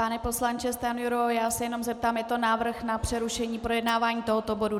Pane poslanče Stanjuro, já se jenom zeptám, je to návrh na přerušení projednávání tohoto bodu.